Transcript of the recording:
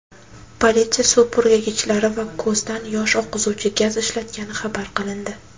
Politsiya suv purkagichlari va ko‘zdan yosh oqizuvchi gaz ishlatgani xabar qilindi.